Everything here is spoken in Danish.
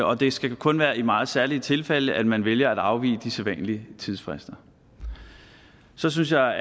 og det skal kun være i meget særlige tilfælde at man vælger at afvige de sædvanlige tidsfrister så synes jeg